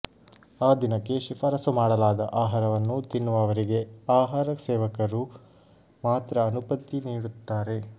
ಆ ದಿನಕ್ಕೆ ಶಿಫಾರಸು ಮಾಡಲಾದ ಆಹಾರವನ್ನು ತಿನ್ನುವವರಿಗೆ ಆಹಾರ ಸೇವಕರು ಮಾತ್ರ ಅನುಮತಿ ನೀಡುತ್ತಾರೆ